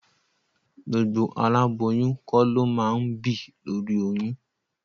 Gbogbo aláboyún kọ́ ló máa ń bì lóri oyún.